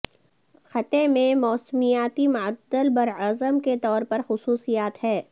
خطے میں موسمیاتی معتدل براعظم کے طور پر خصوصیات ہے